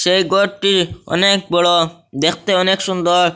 এই ঘরটি অনেক বড় দেখতে অনেক সুন্দর।